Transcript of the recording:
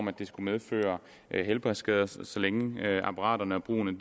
at det skulle medføre helbredsskader så så længe apparaterne og brugen